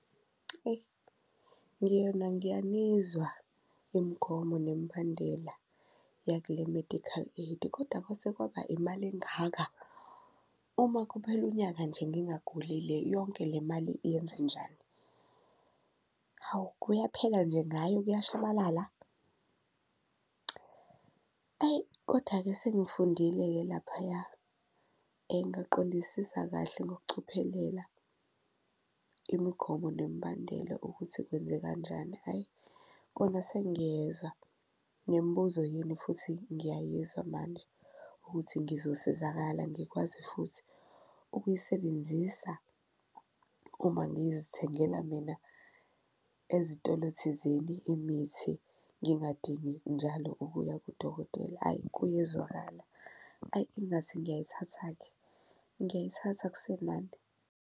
Eyi ngiyona ngiyanizwa imigomo nemibandela yakule medical aid, kodwa kwase kwaba imali engaka? Uma kuphela unyaka nje ngingagulile yonke le mali iyenzenjani? Hawu, kuyaphela nje ngayo kuyashabalala? Ayi koda-ke sengifundile-ke laphaya ngaqondisisa kahle ngokucophelela imigomo nemibandela ukuthi kwenze kanjani. Hhayi kona sengiyezwa nemibuzo yenu futhi ngiyayizwa manje ukuthi ngizosizakala, ngikwazi futhi ukuyisebenzisa uma ngizithengela mina ezitolo thizeni imithi ngingayidingi njalo ukuya kudokotela ayi kuyezwakala. Ayi ingathi ngiyayithatha-ke ngiyayithatha akusenani.